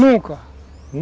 Nunca.